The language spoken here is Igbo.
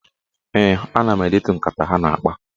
Ee, ana m edetu nkata ha na-akpa.